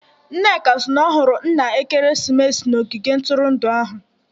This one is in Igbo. Nneka si na ọ hụrụ nna ekeresimesi n'ogige ntụrụndụ ahụ